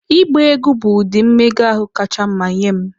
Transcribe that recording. Ịgba egwu bụ ụdị mmega ahụ kacha mma nye m